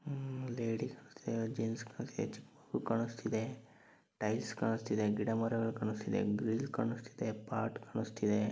ಕಾಣಸ್ತಿದೆ ಟೈಲ್ಸ್ ಕಾಣಸ್ತಿದೆ ಗಿಡ ಮರ ಕಾಣಸ್ತಿದೆ ಗ್ರಿಲ್ ಕಾಣಸ್ತಿದೆ ಕಾಣಸ್ತಿದೆ.